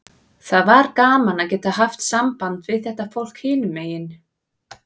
Það var gaman að geta haft samband við þetta fólk hinum megin.